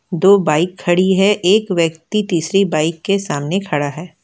दो बाइक खड़ी है एक व्यक्ति तीसरी बाइक के सामने खड़ा है।